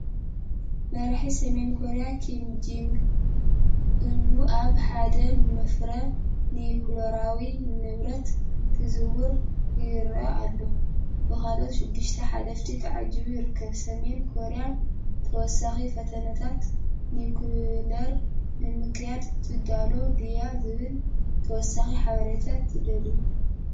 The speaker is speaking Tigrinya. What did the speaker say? መራሒ ሰሜን ኮርያ ኪም ጆንግ ኡን ኣብ ሓደ መፍረ ኒዩክለራዊ ንብረት ክዘውር ይረአ ኣሎ። ብኻልኦት ሽዱሽተ ሓለፍቲ ተዓጂቡ ይርከብ። ሰሜን ኮርያ ተወሳኺ ፈተነታት ኒዩክለር ንምክያድ ትዳሎ ድያ ዝብል ተወሳኺ ሓበሬታ ትደልዩ?